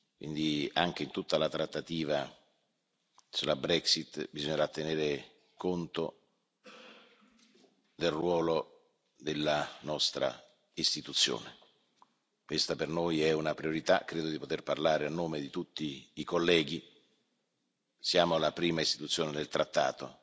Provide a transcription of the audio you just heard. quindi anche in tutta la trattativa sulla Brexit bisognerà tenere conto del ruolo della nostra Istituzione. Questa per noi è una priorità, credo di poter parlare a nome di tutti i colleghi, siamo la prima Istituzione del Trattato